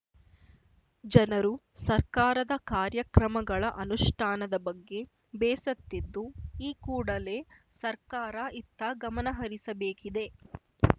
ಜನರು ಸರ್ಕಾರದ ಕಾರ್ಯಕ್ರಮಗಳ ಅನುಷ್ಠಾನದ ಬಗ್ಗೆ ಬೇಸತ್ತಿದ್ದು ಈ ಕೂಡಲೇ ಸರ್ಕಾರ ಇತ್ತ ಗಮನಹರಿಸಬೇಕಿದೆ